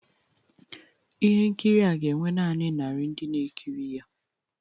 Ihe nkiri a ga-enwe naanị narị ndị na-ekiri ya